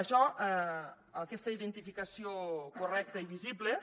això aquesta identificació correcta i visible